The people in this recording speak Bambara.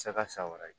saga sa wɛrɛ